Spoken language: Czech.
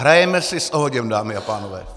Hrajeme si s ohněm, dámy a pánové.